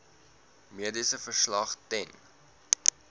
mediese verslag ten